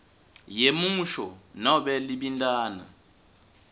yemusho nobe libintana